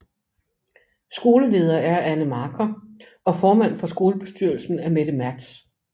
Skoleleder er Anne Marker og formand for skolebestyrelsen er Mette Mertz